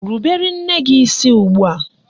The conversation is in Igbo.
Rubere nne gị isi ugbua!